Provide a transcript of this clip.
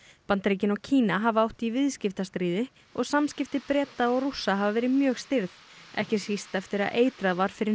Bandaríkin og Kína hafa átt í viðskiptastríði og samskipti Breta og Rússa hafa verið mjög stirð ekki síst eftir að eitrað var fyrir